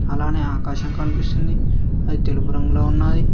అలానే ఆకాశం కనిపిస్తుంది ఆది తెలుపు రంగులో ఉన్నాది.